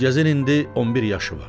Gülgəzin indi 11 yaşı var.